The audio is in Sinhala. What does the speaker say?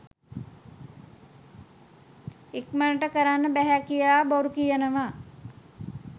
ඉක්මණට කරන්න බැහැ කියල බොරුකියනවා